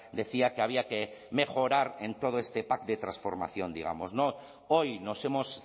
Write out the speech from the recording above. decía que había que mejorar en todo este pack de transformación digamos no hoy nos hemos